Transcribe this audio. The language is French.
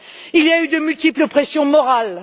Il y a eu de multiples pressions morales.